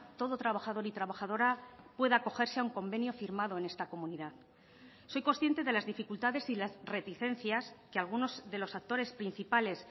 todo trabajador y trabajadora pueda acogerse a un convenio firmado en esta comunidad soy consciente de las dificultades y las reticencias que algunos de los actores principales